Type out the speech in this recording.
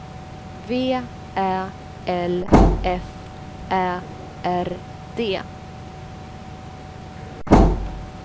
V Ä L F Ä R D